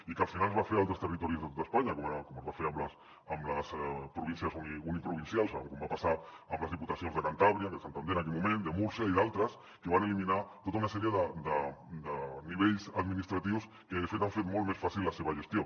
i al final es va fer a altres territoris d’espanya com es va fer amb les províncies uniprovincials com va passar amb les diputacions de cantàbria de santander en aquell moment de múrcia i d’altres que van eliminar tota una sèrie de nivells administratius que de fet han fet molt més fàcil la seva gestió